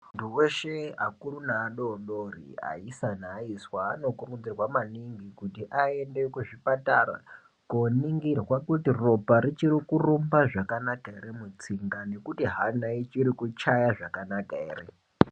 Muntu weshe akuru neadodori, aisa neaiswa anokurudzirwa maningi kuti aende kuzvipatara koningirwa kuti ropa richirikurumba zvakanaka ere mutsinga, nekuti hana ichiri kuchaya zvakanaka here.